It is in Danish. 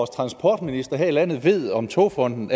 transportministeren her i landet ved om togfondendk